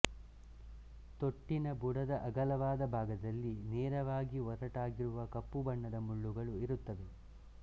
ತೊಟ್ಟಿನ ಬುಡದ ಅಗಲವಾದ ಭಾಗದಲ್ಲಿ ನೇರವಾಗಿ ಒರಟಾಗಿರುವ ಕಪ್ಪುಬಣ್ಣದ ಮುಳ್ಳುಗಳು ಇರುತ್ತವೆ